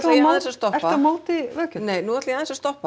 ég aðeins að stoppa ert þú á móti veggjöldum nei nú ætla ég aðeins að stoppa